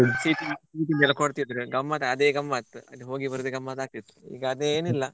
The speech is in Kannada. ಸಿಹಿ ತಿಂಡಿ ಎಲ್ಲ ಕೊಡ್ತಾ ಇದ್ರು ಅದೆ ಗಮ್ಮತ್ ಅಲ್ಲಿ ಹೋಗಿ ಬರುದೆ ಗಮ್ಮತ್ ಆಗ್ತಾ ಇತ್ತು ಈಗ ಅದೇನಿಲ್ಲ.